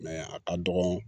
a ka dɔgɔ